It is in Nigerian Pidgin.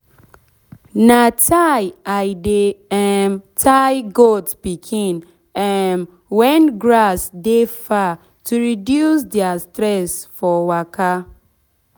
na tie i dey um tie goat pikin um wen grass de far to reduce deir stress for waka.